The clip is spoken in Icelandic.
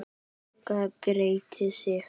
Magga gretti sig.